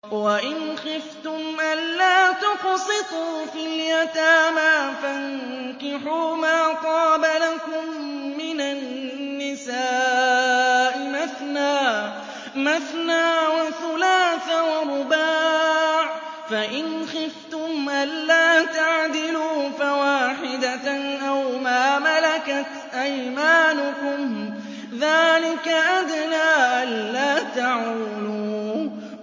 وَإِنْ خِفْتُمْ أَلَّا تُقْسِطُوا فِي الْيَتَامَىٰ فَانكِحُوا مَا طَابَ لَكُم مِّنَ النِّسَاءِ مَثْنَىٰ وَثُلَاثَ وَرُبَاعَ ۖ فَإِنْ خِفْتُمْ أَلَّا تَعْدِلُوا فَوَاحِدَةً أَوْ مَا مَلَكَتْ أَيْمَانُكُمْ ۚ ذَٰلِكَ أَدْنَىٰ أَلَّا تَعُولُوا